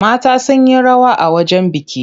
Mata sun yi rawa a wajen biki.